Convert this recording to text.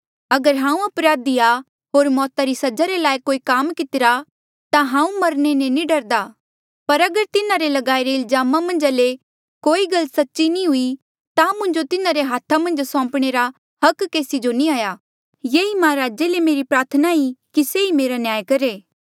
अगर हांऊँ अपराधी आ होर मौता री सजा रे लायक कोई काम कितिरा ता हांऊँ मरणे ले नी डरदा पर अगर तिन्हारे ल्गाईरे इल्जामा मन्झा ले कोई गल सच्ची नी हुई ता मुंजो तिन्हारे हाथा मन्झ सौंपणे रा अधिकार केसी जो नी आ ये ई महाराजे ले मेरी प्रार्थना ई कि से ही मेरा न्याय करहे